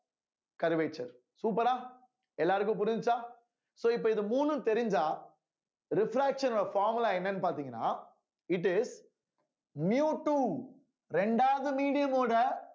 curvature super ஆ எல்லாருக்கும் புரிஞ்சுச்சா so இப்ப இது மூணும் தெரிஞ்சா refraction ஓட formula என்னன்னு பார்த்தீங்கன்னா it is mu two இரண்டாவது medium ஓட